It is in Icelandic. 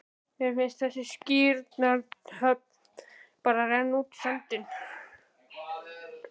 Mér fannst þessi skírnarathöfn bara renna útí sandinn.